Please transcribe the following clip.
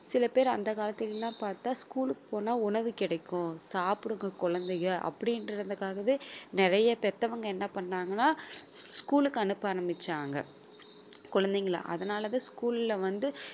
சில பேர் அந்த காலத்தில எல்லாம் பாத்தா school க்கு போனா உணவு கிடைக்கும் சாப்பிடுங்க குழந்தைங்க அப்படின்றதுக்காகவே நிறைய பெத்தவங்க என்ன பண்ணாங்கன்னா school க்கு அனுப்ப ஆரம்பிச்சாங்க குழந்தைங்களை அதனாலதான் school ல வந்து